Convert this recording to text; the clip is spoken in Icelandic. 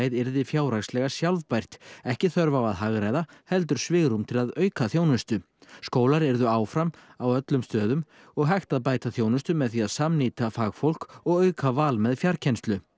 yrði fjárhagslega sjálfbært ekki þörf á að hagræða heldur svigrúm til að auka þjónustu skólar yrðu áfram á öllum stöðum og hægt að bæta þjónustu með því að samnýta þjónustu fagfólks og auka val með fjarkennslu